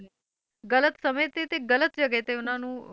ਗ਼ਲਤ ਸਮੇਂ ਤੇ ਗ਼ਲਤ ਜਗ੍ਹਾ ਤੇ ਉਹਨਾਂ ਨੂੰ